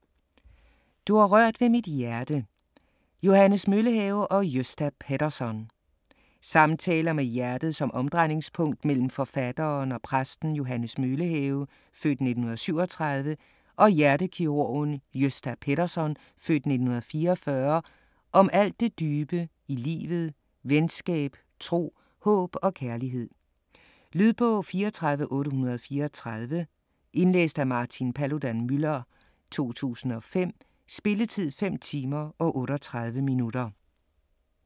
Du har rørt ved mit hjerte Johannes Møllehave & Gösta Pettersson Samtaler med hjertet som omdrejningspunkt mellem forfatteren og præsten Johannes Møllehave (f. 1937) og hjertekirurgen Gösta Pettersson (f. 1944) om alt det dybe i livet, venskab, tro, håb og kærlighed. Lydbog 34834 Indlæst af Martin Paludan-Müller, 2005. Spilletid: 5 timer, 38 minutter.